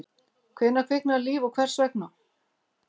Hvenær kviknaði líf og hvers vegna?